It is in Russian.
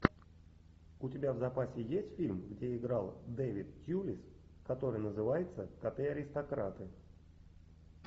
у тебя в запасе есть фильм где играл дэвид тьюлис который называется коты аристократы